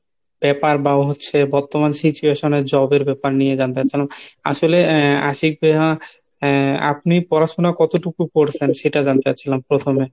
ব্যাপার বা হচ্ছে বর্তমান situation এর Job এর ব্যাপার নিয়ে জানতে চাচ্ছিলাম। আসলে আহ আশিক ভাইয়া আহ আপনি পড়াশুনা কতটুকু করসেন সেটা জানতে চাচ্ছিলাম প্রথমে?